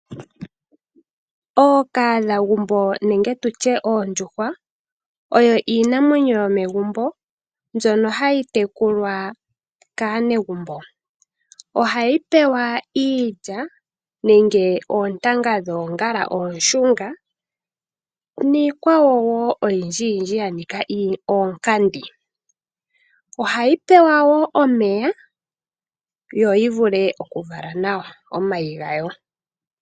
Ookahadhagumbo nenge tu tye oondjuhwa oyo iinamwenyo yomegumbo mbyono hayi tekulwa kaanegumbo. Ohayi pewa iilya nenge oontanga dhoongala oonshunga niikwawo wo oyindjiyindji ya nika oonkenya. Ohayi pewa wo omeya yo yi vule okuvala nawa omayi gawo.